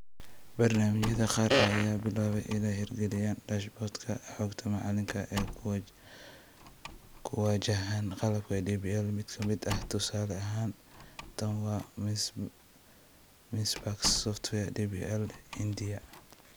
Barnaamijyada qaar ayaa bilaabay inay hirgeliyaan dashboard-ka xogta macalinka ee ku wajahan qalabka DPL. Mid ka mid ah tusaale ahaan tan waa Minspark's software DPL ee Hindiya.